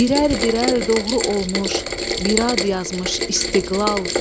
Birər-birər doğru olmuş bir ad yazmış istiqbal.